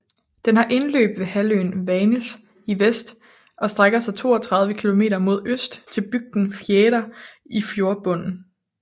Den har indløb ved halvøen Vannes i vest og strækker sig 32 kilometer mod øst til bygden Fjæra i fjordbunden